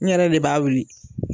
N yɛrɛ de b'a wili.